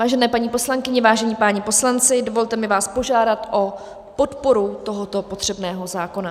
Vážené paní poslankyně, vážení páni poslanci, dovolte mi vás požádat o podporu tohoto potřebného zákona.